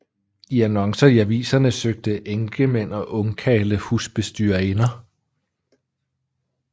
I annoncer i aviserne søgte enkemænd og ungkarle husbestyrerinder